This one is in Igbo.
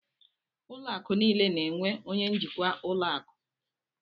Ụlọ akụ̀ niile na-enwe onye njikwa ụlọ akụ.